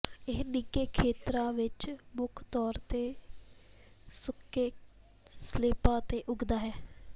ਇਹ ਨਿੱਘੇ ਖੇਤਰਾਂ ਵਿੱਚ ਮੁੱਖ ਤੌਰ ਤੇ ਸੁੱਕੇ ਸਲਿੱਪਾਂ ਤੇ ਉੱਗਦਾ ਹੈ